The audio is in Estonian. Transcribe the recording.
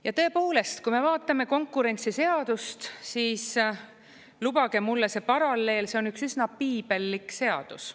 Ja tõepoolest, kui me vaatame konkurentsiseadust, siis lubage mulle see paralleel, see on üks üsna piibellik seadus.